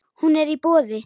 Hún er í boði.